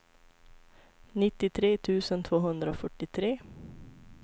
nittiotre tusen tvåhundrafyrtiotre